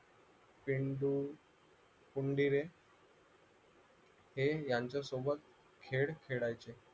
कुंदिरे हे यांच्यासोबत खेळ खेळायचे